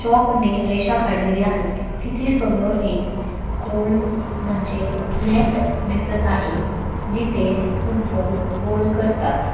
Chalk ने रेषा काढलेल्या आहेत. तिथे समोर एक गोल म्हणजे नेट दिसत आहे जिथे फुटबॉल गोल करतात.